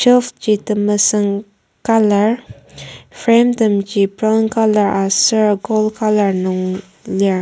shelf ji temesüng colour frame temji brown colour aser gold colour nung lir.